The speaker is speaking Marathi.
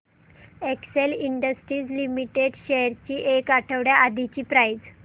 एक्सेल इंडस्ट्रीज लिमिटेड शेअर्स ची एक आठवड्या आधीची प्राइस